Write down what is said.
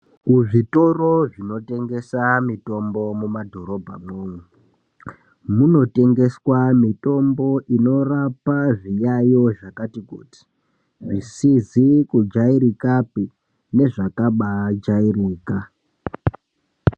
Kuzvitoro zvinotengeswa mitombo mumadhorobhamwo munotengeswa mitombo inorapa zviyayo zvakati kuti zvisizi kujairikapi nezvakajairika.